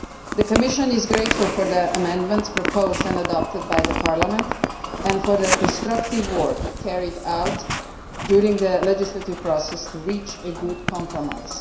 The Commission is grateful for the amendments proposed and adopted by Parliament and for the constructive work carried out during the legislative process to reach a good compromise.